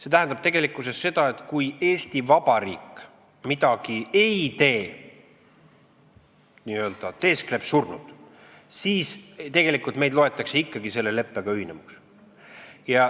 See tähendab seda, et kui Eesti Vabariik midagi ei tee, n-ö teeskleb surnut, siis loetakse meid ikkagi selle leppega ühinenuks.